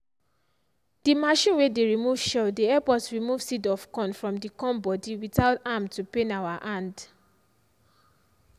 the machine way dey remove shell dey help us remove seed of corn from the corn body without am to pain our hand.